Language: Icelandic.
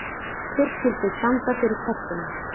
Hver skyldi standa fyrir tertunum?